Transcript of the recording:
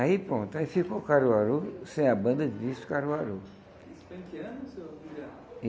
Aí pronto, aí ficou o Caruaru, sem a banda, de pife o Caruaru.